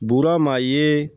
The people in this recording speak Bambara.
Buura ma ye